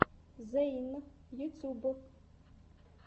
зэйн ютьюб